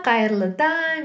қайырлы таң